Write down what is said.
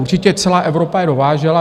Určitě celá Evropa je dovážela.